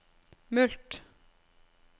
mulkt